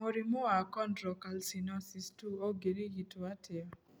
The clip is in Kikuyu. Mũrimũ wa chondrocalcinosis 2 kũngĩrigitwo atĩa?